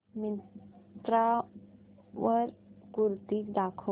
मिंत्रा वर कुर्तीझ दाखव